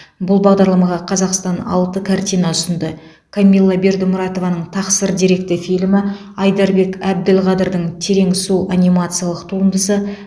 бұл бағдарламаға қазақстан алты картина ұсынды камилла бердімұратованың тақсыр деректі фильмі айдарбек әбділқадырдың терең су анимациялық туындысы